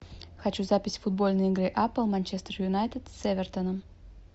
хочу запись футбольной игры апл манчестер юнайтед с эвертоном